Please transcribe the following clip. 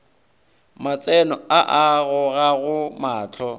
matseno a a gogago mahlo